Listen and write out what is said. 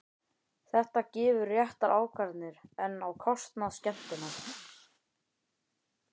Þetta gefur réttar ákvarðanir, en á kostnað. skemmtunar?